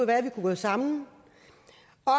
være vi kunne gå sammen